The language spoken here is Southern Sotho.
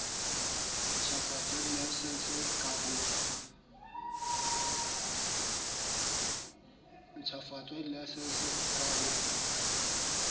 ntjhafatso ya dilaesense ka ho